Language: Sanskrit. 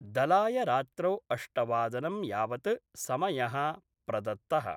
दलाय रात्रौ अष्टवादनं यावत् समय: प्रदत्त:।